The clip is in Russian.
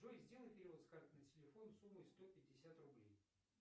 джой сделай перевод с карты на телефон суммой сто пятьдесят рублей